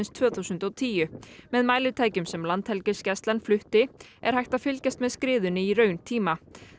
tvö þúsund og tíu með mælitækjum sem Landhelgisgæslan flutti er hægt að fylgjast með skriðunni í rauntíma